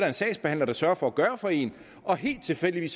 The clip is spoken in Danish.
en sagsbehandler der sørger for at gøre for en og helt tilfældigt